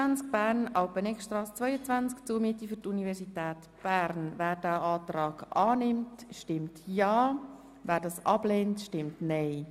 Wer dem Antrag auf Annahme des Kredits folgt, stimmt ja, wer dies ablehnt, stimmt nein.